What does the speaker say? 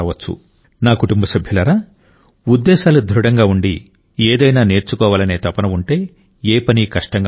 నా కుటుంబ సభ్యులారా ఉద్దేశాలు దృఢంగా ఉండి ఏదైనా నేర్చుకోవాలనే తపన ఉంటే ఏ పనీ కష్టంగా ఉండదు